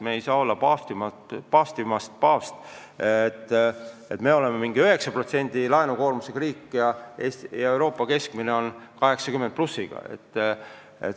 Me ei saa olla paavstist paavstimad, et me oleme mingi 9%-lise laenukoormusega riik ja Euroopa keskmine on 80+%.